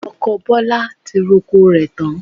Ọkọ Bọlá ti roko rẹ̀ tán